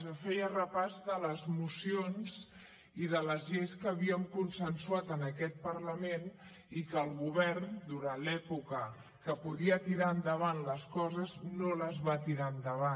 jo feia repàs de les mocions i de les lleis que havíem consensuat en aquest parlament i que el govern durant l’època en què podia tirar endavant les coses no les va tirar endavant